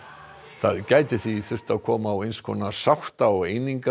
það gæti því þurft að koma á eins konar sátta og